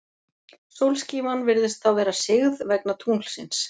Sólskífan virðist þá vera sigð, vegna tunglsins.